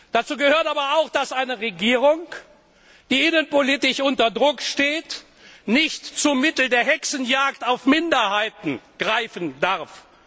Dazu gehört aber auch, dass eine Regierung, die innenpolitisch unter Druck steht, nicht zum Mittel der Hexenjagd auf Minderheiten greifen darf.